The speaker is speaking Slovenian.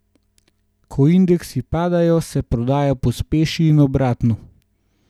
Ko indeksi padajo, se prodaja pospeši in obratno.